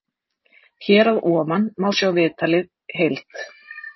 Hér að ofan má sjá viðtalið heild.